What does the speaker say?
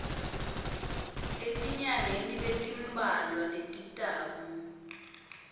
etinyangeni letimbalwa letitako